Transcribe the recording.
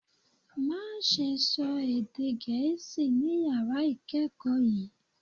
Má ṣe sọ èdè gẹ̀ẹ́sì ni yàrá ìkẹ́kọ̀ọ́ yìí